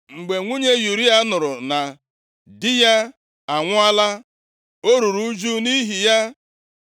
Mgbe nwunye Ụraya nụrụ na di ya anwụọla, o ruru ụjụ nʼihi ya.